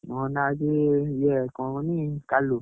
ମୋ ନାଁ ହଉଛି କଣ କହନି କାଲୁ।